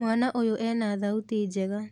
Mwana ũyũ ena thauti njega